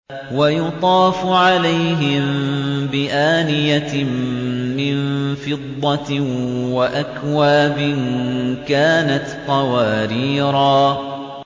وَيُطَافُ عَلَيْهِم بِآنِيَةٍ مِّن فِضَّةٍ وَأَكْوَابٍ كَانَتْ قَوَارِيرَا